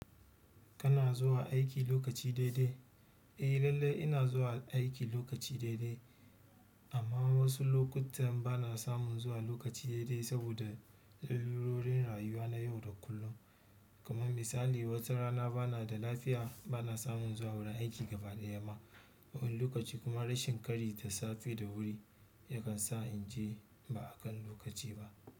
Kana zuwa aiki lokaci daidai? Eh lallai ina zuwa aiki lokaci daidai amma wasu lokutan bana samun zuwa lokaci daidai saboda lalurorin rayuwa na yau da kullum. Kaman misali, wata rana bana da lafiya bana samun zuwa wurin aiki gaba ɗaya ma, wani lokaci kuma rashin ƙari da safe da wuri yakan sa in je ba a kan lokaci ba.